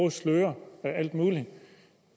at sløre og alt muligt